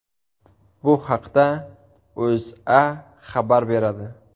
Bu haqda O‘zA xabar beradi .